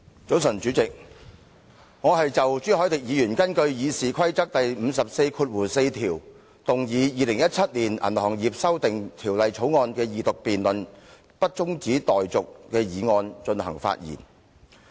早晨，主席，我是就朱凱廸議員根據《議事規則》第544條動議《2017年銀行業條例草案》的二讀辯論不中止待續的議案發言。